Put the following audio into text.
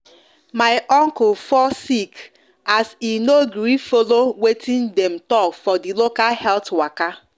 my uncle fall sick as he no gree follow watin dem talk for the local health waka